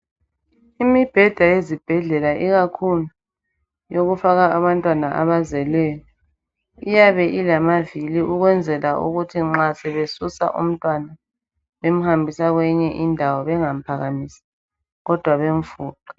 Imibheda yezibhedlela ikakhulu eyokufaka abantwana abazelweyo iyabe ilama vili ukwenzela ukuthi nxa sebesusa umntwana bemuhambisa kwenye indawo bengamuphakamisi kodwa bemufuqe.